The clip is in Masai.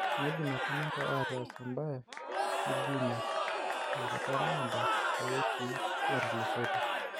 Meidim apa ninje ataas embae nijo ina tenkata naado too wikii natulusotie.